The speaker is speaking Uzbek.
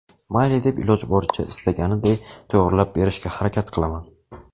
Mayli deb iloji boricha istaganiday to‘g‘rilab berishga harakat qilaman.